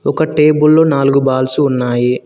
ఒక టేబుల్ లో నాలుగు బాల్స్ ఉన్నాయి.